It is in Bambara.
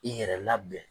I yɛrɛ labɛn